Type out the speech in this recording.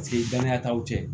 Paseke danaya t'aw cɛ